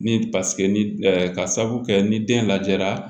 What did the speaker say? Ni paseke ni ka sabu kɛ ni den lajɛra